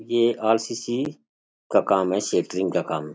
ये R C C का काम है सेट्रिंग का काम --